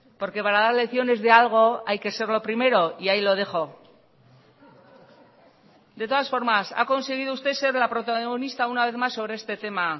porque para dar lecciones de algo hay que serlo primero y ahí lo dejo de todas formas ha conseguido usted ser la protagonista una vez más sobre este tema